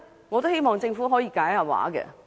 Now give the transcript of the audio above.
我希望政府可以解釋。